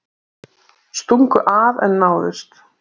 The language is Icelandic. Stungu af en náðust